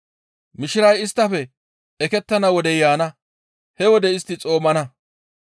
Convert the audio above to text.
Mishiray isttafe ekettana wodey yaana. He wode istti xoomana.